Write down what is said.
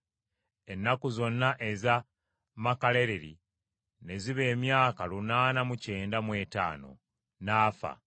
Ennaku zonna eza Makalaleri ne ziba emyaka lunaana mu kyenda mu etaano, n’afa.